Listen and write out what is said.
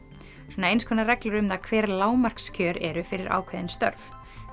svona eins konar reglur um það hver lágmarkskjör eru fyrir ákveðin störf